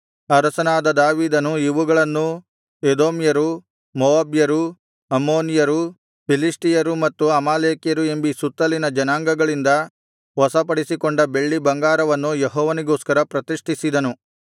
ಅರಸನಾದ ದಾವೀದನು ಇವುಗಳನ್ನೂ ಎದೋಮ್ಯರು ಮೋವಾಬ್ಯರು ಅಮ್ಮೋನಿಯರು ಫಿಲಿಷ್ಟಿಯರು ಮತ್ತು ಅಮಾಲೇಕ್ಯರು ಎಂಬೀ ಸುತ್ತಲಿನ ಜನಾಂಗಗಳಿಂದ ವಶಪಡಿಸಿಕೊಂಡ ಬೆಳ್ಳಿ ಬಂಗಾರವನ್ನು ಯೆಹೋವನಿಗೋಸ್ಕರ ಪ್ರತಿಷ್ಠಿಸಿದನು